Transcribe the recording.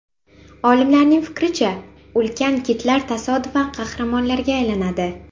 Olimlarning fikricha, ulkan kitlar tasodifan qahramonlarga aylanadi.